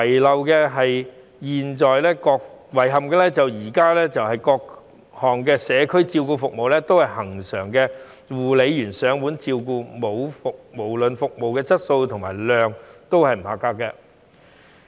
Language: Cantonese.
令人遺憾的是，現時各項社區照顧服務都是恆常由護理員上門照顧，無論服務質素及質量亦不及格。